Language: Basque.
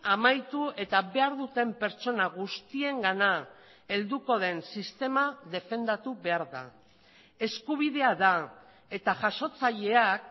amaitu eta behar duten pertsona guztiengana helduko den sistema defendatu behar da eskubidea da eta jasotzaileak